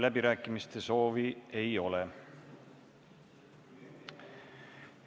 Läbirääkimiste soovi ei ole.